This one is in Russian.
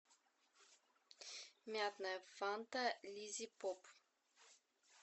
мятная фанта лиззипоп